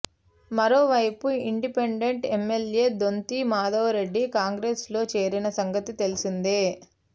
మరోవైపు independent MLA Donthi Madhava Reddy కాంగ్రెస్లో చేరిన సంగతి తెలిసిందే